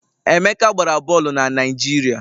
Emeka gbara bọọlụ na Naịjirịa